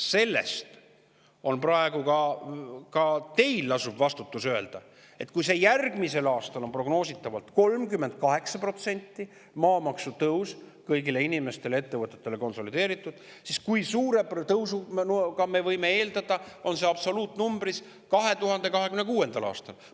Küsimus on praegu selles, et ka teil lasub vastutus öelda, et kui järgmisel aastal on konsolideeritud maamaksutõus prognoositavalt 38% kõigile inimestele ja ettevõtetele, siis kui suurt tõusu, absoluutnumbrit, me võime eeldada 2026. aastal.